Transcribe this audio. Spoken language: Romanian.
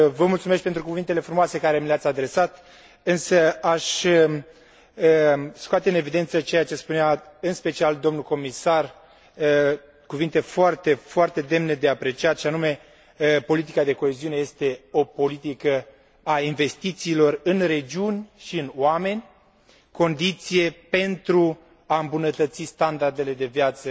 Vă mulțumesc și pentru cuvintele frumoase pe care mi le ați adresat, însă aș scoate în evidență ceea ce spunea în special domnul comisar, cuvinte foarte, foarte demne de apreciat, și anume că politica de coeziune este o politică a investițiilor în regiuni și în oameni, condiție pentru a îmbunătăți standardele de viață